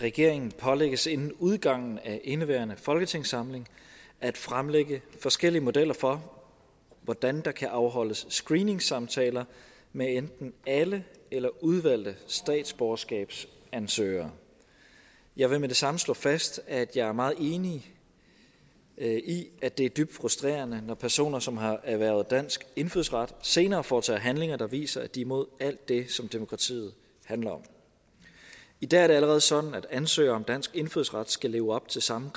regeringen pålægges inden udgangen af indeværende folketingssamling at fremlægge forskellige modeller for hvordan der kan afholdes screeningssamtaler med enten alle eller udvalgte statsborgerskabsansøgere jeg vil med det samme slå fast at jeg er meget enig i at det er dybt frustrerende når personer som har erhvervet dansk indfødsret senere foretager handlinger der viser at de er imod alt det som demokratiet handler om i dag er det allerede sådan at ansøgere om dansk indfødsret skal leve op til samme